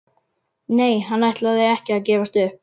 Nei, hann ætlaði ekki að gefast upp.